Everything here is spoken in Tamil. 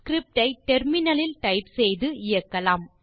ஸ்கிரிப்ட் ஐ டெர்மினல் லில் டைப் செய்து இயக்கலாம்